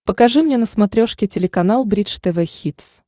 покажи мне на смотрешке телеканал бридж тв хитс